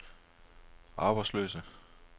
arbejdsløse